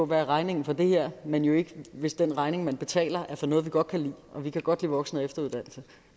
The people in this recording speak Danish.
hvad regningen for det her er men jo ikke hvis den regning man betaler er for noget vi godt kan lide og vi kan godt lide voksen og efteruddannelse